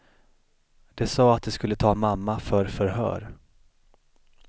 De sa att de skulle ta mamma för förhör.